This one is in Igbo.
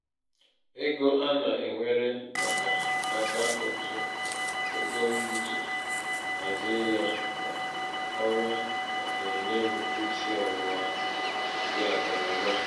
ego ana-ewere maka aka ụtụ ego m iji hazie ya kwa ọnwa na-enye m isi ọwụwa nke akụnaụba.